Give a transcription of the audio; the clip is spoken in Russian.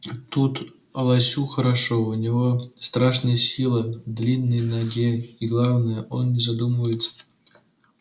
и тут лосю хорошо у него страшная сила в длинной ноге и главное он не задумывается